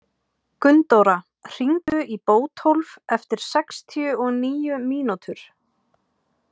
Gunndóra, hringdu í Bótólf eftir sextíu og níu mínútur.